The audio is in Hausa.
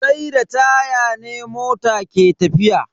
Sai da taya ne mota ke tafiya.